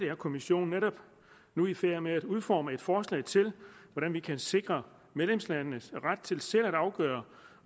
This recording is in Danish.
er kommissionen netop nu i færd med at udforme et forslag til hvordan vi kan sikre medlemslandenes ret til selv at afgøre